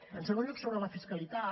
en segon lloc sobre la fiscalitat